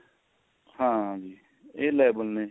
ਹਾਂਜੀ ਇਹ level ਨੇ